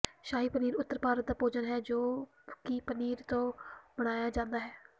ਸ਼ਾਹੀ ਪਨੀਰ ਉੱਤਰ ਭਾਰਤ ਦਾ ਭੋਜਨ ਹੈ ਜੋ ਕੀ ਪਨੀਰ ਤੋ ਬਣਾਇਆ ਜਾਂਦਾ ਹੈ